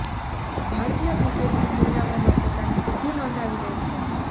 ભારતીય cricket team દુનિયાભરમાં પોતાની સિદ્ધિ નોંધાવી રહી છે